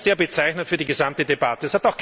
Das ist sehr bezeichnend für die gesamte Debatte.